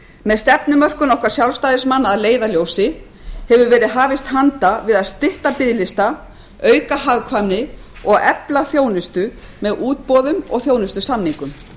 með stefnumörkun okkar sjálfstæðismanna að leiðarljósi hefur verið hafist handa við að stytta biðlista auka hagkvæmni og efla þjónustu með útboðum og þjónustusamningum